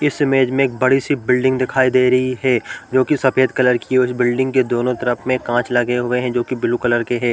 इस इमेज में एक बडी सी बिल्डिंग दिखाई दे रही है जो की सफ़ेद कलर की उस बिल्डिंग के दोनो तरफ में कांच लगे हुए है जो ब्लू कलर के हैं।